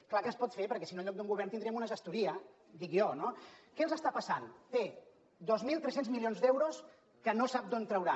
és clar que es pot fer perquè si no en lloc d’un govern tindríem una gestoria dic jo no què els està passant té dos mil tres cents milions d’euros que no sap d’on traurà